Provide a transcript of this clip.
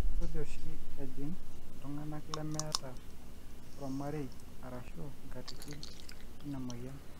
kesuj oshi ejing iltunganak leemeeta ormarei arashu enkatini ina moyian